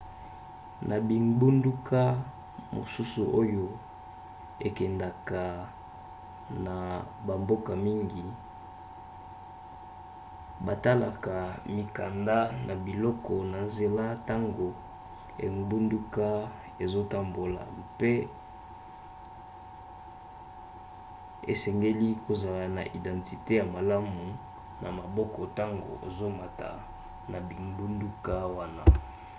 na bingbunduka mosusu oyo ekendaka na bamboka mingi batalaka mikanda na biloko na nzela ntango engbunduka ezotambola mpe osengeli kozala na identite ya malamu na maboko ntango ozomata na bingbunduka wana